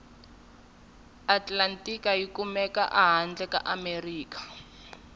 atlantika yikumeka hhandle kaamerika